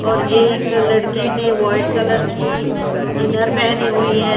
और एक लड़के ने वोआईट कलर की इनर पहनी हुई है।